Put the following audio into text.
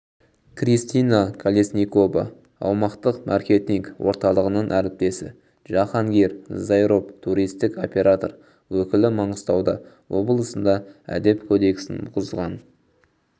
кристина колесникова аумақтық маркетинг орталығының әріптесі джахангир заиров туристік оператор өкілі маңғыстауда облысында әдеп кодексін бұзған